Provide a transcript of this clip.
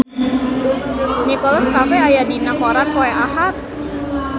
Nicholas Cafe aya dina koran poe Ahad